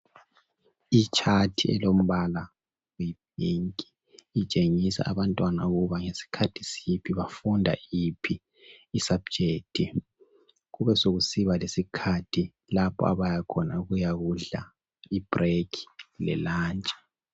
i chat elombala oyi pink itshengisa abantwana ukuba ngesikhathi siphi bafunda iphi i subject kube sekusiba lesikhathi lapha abayakhona ukuyakudla i break le lunch